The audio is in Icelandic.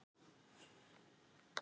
Þannig að þú.